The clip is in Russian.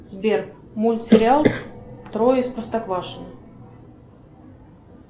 сбер мультсериал трое из простоквашино